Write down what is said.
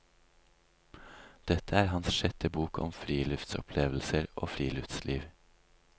Dette er hans sjette bok om friluftsopplevelser og friluftsliv.